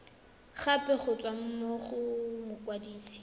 gape go tswa go mokwadise